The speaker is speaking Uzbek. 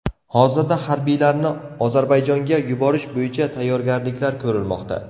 Hozirda harbiylarni Ozarbayjonga yuborish bo‘yicha tayyorgarliklar ko‘rilmoqda.